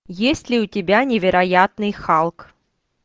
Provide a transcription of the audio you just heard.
есть ли у тебя невероятный халк